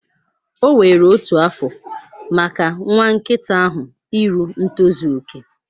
O were otu afọ maka nwa nkịta ahụ iru ntozu okè.